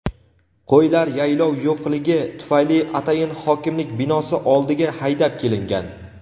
qo‘ylar yaylov yo‘qligi tufayli atayin hokimlik binosi oldiga haydab kelingan.